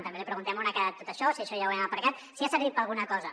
també li preguntem on ha quedat tot això si això ja ho hem aparcat si ha servit per a alguna cosa